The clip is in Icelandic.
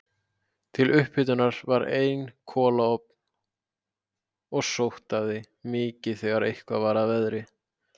Til upphitunar var einn kolaofn og sótaði mikið þegar eitthvað var að veðri.